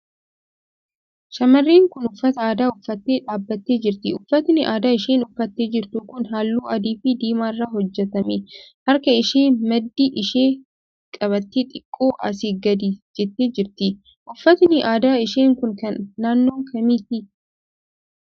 Shamarreen kun uffata aadaa uffattee dhaabbattee jirti. Uffatni aadaa isheen uffattee jirtu kun halluu adiifi diimaa irraa hojjetame. Harka ishee maddii ishee qabattee xiqqoo asii gadi jettee jirti. Uffatni aadaa ishee kun kan naannoo kamiiti?